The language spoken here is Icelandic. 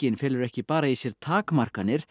felur ekki bara í sér takmarkanir